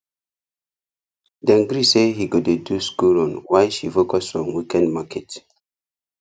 dem gree say he go dey do school run while she focus on weekend market